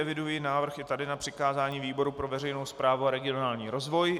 Eviduji návrh i tady na přikázání výboru pro veřejnou správu a regionální rozvoj.